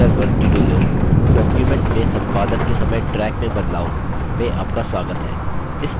LibreOffice writer tutorial ट्यूटोरियल डॉक्युमेंट में संपादन के समय ट्रैक में बदलाव में आपका स्वागत है